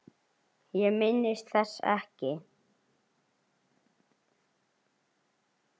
Ég minnist þess ekki.